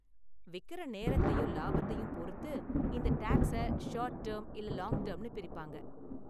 விக்கற நேரத்தையும் லாபத்தையும் பொறுத்து, இந்த டேக்ஸை ஷார்ட் டேர்ம் இல்ல லாங் டேர்ம்னு பிரிப்பாங்க.